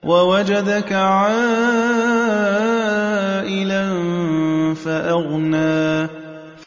وَوَجَدَكَ عَائِلًا فَأَغْنَىٰ